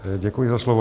Děkuji za slovo.